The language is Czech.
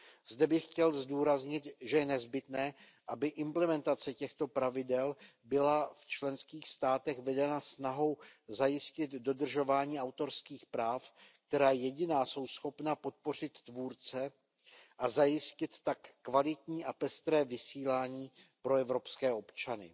Zde bych chtěl zdůraznit, že je nezbytné, aby implementace těchto pravidel byla v členských státech vedena snahou zajistit dodržování autorských práv, která jediná jsou schopna podpořit tvůrce a zajistit tak kvalitní a pestré vysílání pro evropské občany.